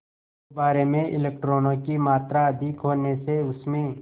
गुब्बारे में इलेक्ट्रॉनों की मात्रा अधिक होने से उसमें